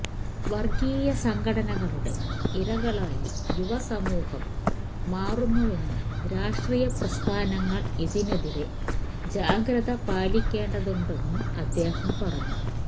വര്ഗ്ഗീയ സംഘടനകളുടെ ഇരകളായി യുവസമൂഹം മാറുന്നുവെന്നും രാഷ്ട്രീയപ്രസ്ഥാനങ്ങള് ഇതിനെതിരെ ജാഗ്രത പാലിക്കേണ്ടതുണ്ടെന്നും അദ്ദേഹം പറഞ്ഞു